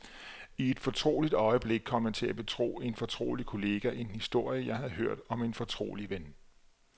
I et fortroligt øjeblik kom jeg til at betro en fortrolig kollega en historie, jeg havde hørt om en fortrolig ven.